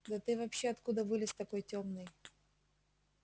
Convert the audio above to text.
да ты вообще откуда вылез такой тёмный